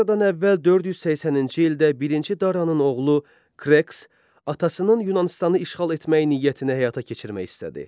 Eradan əvvəl 480-ci ildə birinci Daranın oğlu Kserks atasının Yunanıstanı işğal etmək niyyətini həyata keçirmək istədi.